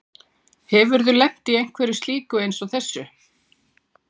Hefurðu lent í einhverju slíku eins og þessu?